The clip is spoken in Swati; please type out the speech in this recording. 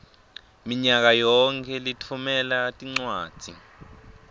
minyakayonkhe litfumela tincwadzi